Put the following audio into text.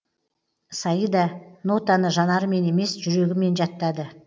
саида нотаны жанарымен емес жүрегімен жаттады